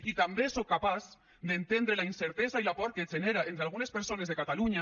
i també soc capaç d’entendre la incertesa i la por que genera entre algunes persones de catalunya